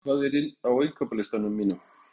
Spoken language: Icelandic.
Salína, hvað er á innkaupalistanum mínum?